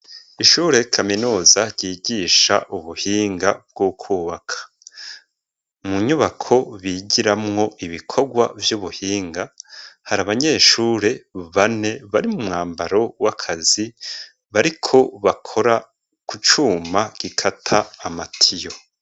Ishure kaminuza ryigisha ubuhinga bwo kwubaka. Mu nyubako bigiramwo ibikorwa vy'ubuhinga, hari abanyeshure bane bari mu mwambaro w'akazi, bariko bakora ku cuma gikata amatiyo.